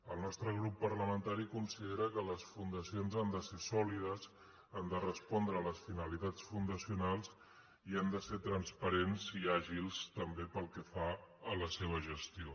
el nostre grup parlamentari considera que les fundacions han de ser sòlides han de respondre a les finalitats fundacionals i han de ser transparents i àgils també pel que fa a la seva gestió